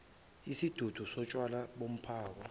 isidudu sotshwala bomphako